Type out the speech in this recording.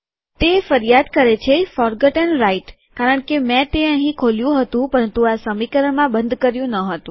તે ફરિયાદ કરે છે ફોરગોટન રાઈટ કારણ મેં તે અહીં ખોલ્યું હતું પરંતુ તે આ સમીકરણમાં બંધ કર્યું ન હતું